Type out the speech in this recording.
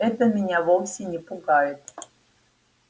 это меня вовсе не пугает